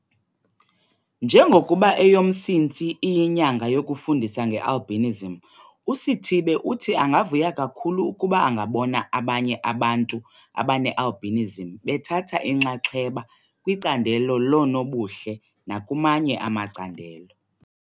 Njengokuba eyoMsintsi iyiNyanga yokuFundisa ngeAlbinism uSithibe uthi angavuya kakhulu ukuba angabona abanye abantu abane-albinism bethatha inxaxheba kwicandelo loonobuhle nakumanye amacandelo.